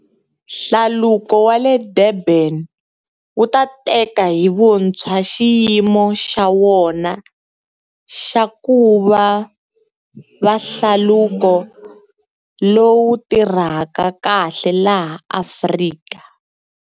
Hlaluko wa le Durban wu ta teka hi vuntshwa xiyimo xa wona xa ku va hlaluko lowu tirhaka kahle laha Afrika.